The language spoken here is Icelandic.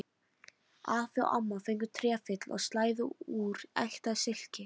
Afi og amma fengu trefil og slæðu úr ekta silki.